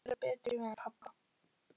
Ég hefði átt að vera betri við hann pabba.